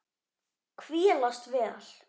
Hvílast vel.